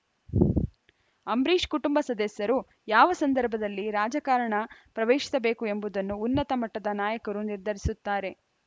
ಅಂಬರೀಷ್‌ ಕುಟುಂಬ ಸದಸ್ಯರು ಯಾವ ಸಂದರ್ಭದಲ್ಲಿ ರಾಜಕಾರಣ ಪ್ರವೇಶಿಸಬೇಕು ಎಂಬುದನ್ನು ಉನ್ನತ ಮಟ್ಟದ ನಾಯಕರು ನಿರ್ಧರಿಸುತ್ತಾರೆ